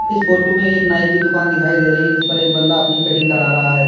इस फोटो में एक नाई की दुकान दिखाई दे रही है जिस पर एक बंदा अपनी कटिंग करा रहा है।